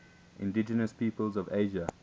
indigenous peoples of asia